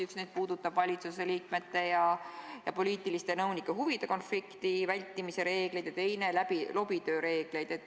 Üks neist puudutab valitsuse liikmete ja poliitiliste nõunike huvide konflikti vältimise reegleid ja teine lobitöö reegleid.